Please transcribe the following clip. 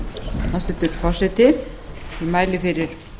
hæstvirtur forseti ég mæli fyrir